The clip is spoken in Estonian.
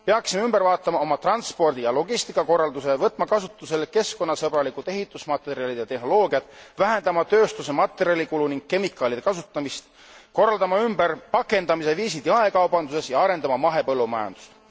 Peaksime ümber vaatama oma transpordi ja logistikakorralduse, võtma kasutusele keskkonnasõbralikud ehitusmaterjalid ja tehnoloogiad, vähendama tööstuse materjalikulu ning kemikaalide kasutamist, korraldama ümber pakendamise viisid jaekaubanduses ja arendama mahepõllumajandust.